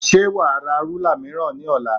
Ṣé wà á ra rúlà mìíràn ní ọ̀la?